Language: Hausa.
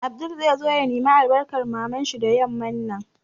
Abdul zai zo ya nemi albarkan Mamar shi da yamman nan